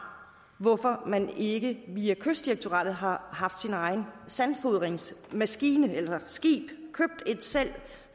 hvorfor man ikke via kystdirektoratet har haft sin egen sandfodringsmaskine eller skib